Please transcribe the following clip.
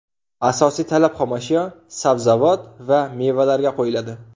Asosiy talab xomashyo – sabzavot va mevalarga qo‘yiladi.